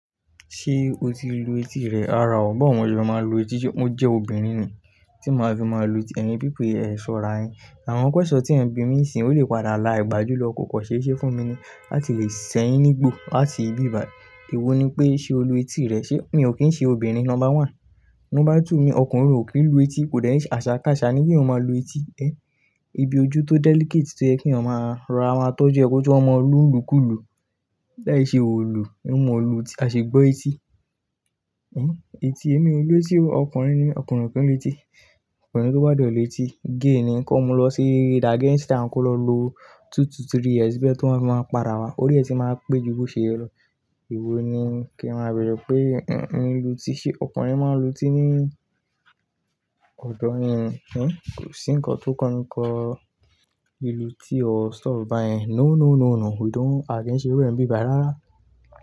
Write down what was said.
Ṣé o ti lu etí rẹ? Rárá o, báwo ni mo ṣe fẹ́ máa ń lu etí. Mo jẹ́ obìnrin ni tí màá fi máa lu etí? Ẹni bí pé ẹ ṣọra ẹyin, àwọn pẹ́ṣọ̀ tí ẹ̀ ń bí mi sí ń ó lè padà la ìgbàjú lọ koko ṣe iṣẹ́ fún mi ni láti lè ṣẹ́yín nígbò láti bíbà. Èwo ni pé ṣe o lu etí rẹ? Sé mi ò kí ń ṣe obìnrin, number one. Number two ni ọkùnrin ò kí ń lu etí, kò dẹ́rì àṣà ká àṣà ní bí ò máa lu etí ẹ. Ibi ojú tó delicate tó jẹ́ kí ọmọ máa rọ́ àwọn atọ́jọ ẹ kú tó ọmọ olú ńlù kú ìlú. Láì ṣe òòlù, ẹ́ mọ̀ olù tí a ṣe gbọ́ etí. Èmi ò lu etí o, ọkùnrin ni mí, ọkùnrin kì í lu etí. Ọkùnrin tó bá dẹ̀ lu etí, gay ni. Kán ọmọ lọ sí against am, kó lọ lu two to three years bí ẹ tó bá máa ń padà wá. Ó rí ẹ tí màá pé ju bó ṣe yẹ lọ Èwo ni kí a máa bẹ̀rẹ̀ pé nǹkan lu etí ṣe ọkùnrin máa ń lu tí ní ọ̀dọ̀ ẹ́ ni. Kò sí ǹkan tó kọ́ni kọ́. Lu etí o, stop báyẹn. No, no, no, no, we don't against rẹ́ ń bíbà rárá.